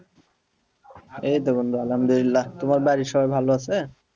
এই তো বন্ধু আলহামদুলিল্লাহ তোমার বাড়ির সবাই ভালো আছে?